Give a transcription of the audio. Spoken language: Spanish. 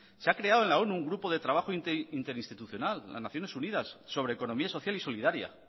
se ha creado en la onu un grupo de trabajo interinstitucional las naciones unidas sobre economía social y solidaria